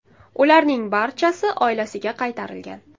Ularning barchasi oilasiga qaytarilgan.